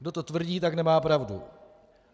Kdo to tvrdí, tak nemá pravdu.